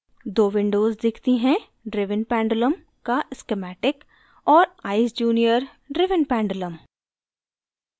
दो विन्डोज़ दिखती हैं